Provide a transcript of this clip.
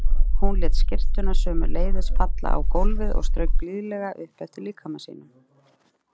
Hún lét skyrtuna sömuleiðis falla á gólfið og strauk blíðlega upp eftir líkama sínum.